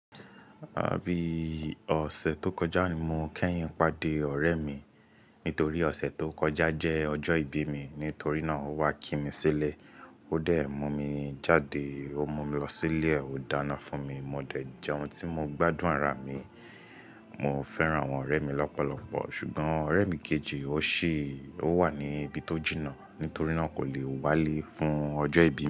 Abii, ọ̀sẹ̀ tó kọjá ni mo kẹ́yìn pàdé ọ̀rẹ́ mi. Nítorí ọ̀sẹ̀ tó kọjá jẹ́ ọjọ́ ìbí mi, nítorí náà ó wá kí mi sílẹ̀. O Ó dẹ̀ mú mi jáde, ó mú mi lọ sí ilé òdáná fún mi, mo dẹ̀ jẹ ohun tí mo gbádùn rárá mi. Mo fẹ́ràn àwọn ọ̀rẹ́ mi lọ́pọ̀lọpọ̀, ṣùgbọ́n ọ̀rẹ́ mi kejì ó ṣì, ó wà ní ibi tó jìnnà, nítorí náà kò lè wálé fún ọjọ́ ìbí mi.